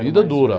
Vida dura.